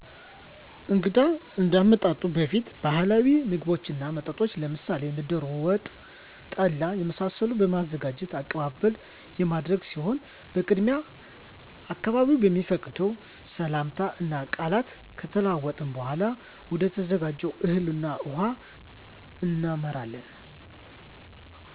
እንግዳው ከመምጣቱ በፊት ባህላዊ ምግቦችን እና መጠጦችን ለምሳሌ እንደ ደሮ ወጥ እና ጠላ የመሳሰሉትን በማዘጋጅ አቀባበል የሚደረግ ሲሆን በቅድሚያ አካባቢዉ በሚፈቅደው ሰላምታ እና ቃላት ከተለዋወጥን በኃላ ወደተዘጋጀው እህል ውሃ እናመራለን።